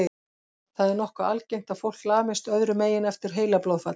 Það er nokkuð algengt að fólk lamist öðrum megin eftir heilablóðfall.